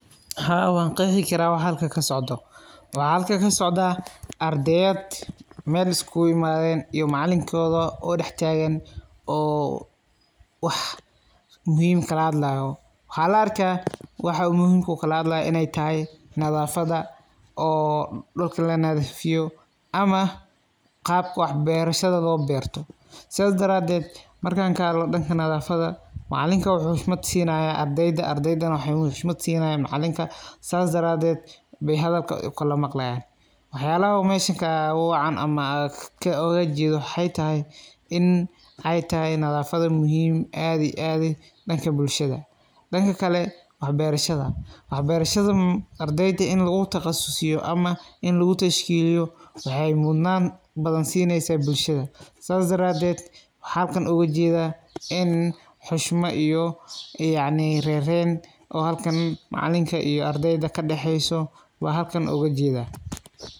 Haa waan qeexi karaa wax halkan kasocdo waxaa meeshan kasocda ardeyad oo mel iskugu imaadeen oo macalinkooda oo dhax taagan oo wax muhiim kala hadlaayo waxa la arkaa waxa muiimka ah uu kala hadlaayo nadaafada oo dhulka la dhadiifiyo ama qaab wax beerashada loo beerto sidaa daraateed marka kahadlo dhanka nadaafada macalinka waxu xushmad siinaya ardeyda ardeydana waxee xushmad siinayan macalinka saas daraateed ayee hadalka ukala maqlayaan waxa yaalaha meesha kaga wacan ama aan uga jeedo waxe tahay in ay tahay nadaafada muhiim aad iyo aad dhanka bulshada dhanka kale wax beerashada wax beerashaa ardeyda in lagutaqsusiyo ama in lagu tashkiiliyo waxee mudnaan badan siineysa bulshada saas daraateed waxa halkan uga jeeda in xushmo iyo yacni reerayn oo halkan maclinka iyo ardeyda kadhaxeeso waa halkan uga jeeda.